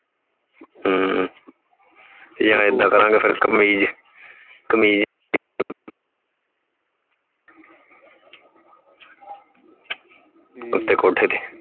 ਹਮ ਯਾ ਏਦਾਂ ਕਰਾਂਗਾ ਫੇਰ ਕਮੀਜ਼ ਕਮੀਜ਼ ਉਤੇ ਕੋਠੇ ਤੇ